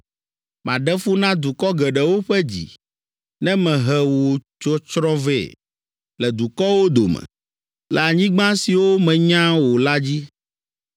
Maɖe fu na dukɔ geɖewo ƒe dzi, Ne mehe wò tsɔtsrɔ̃ vɛ, Le dukɔwo dome. Le anyigba siwo mènya o la dzi.